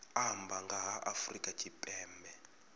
amba nga ha afrika tshipembe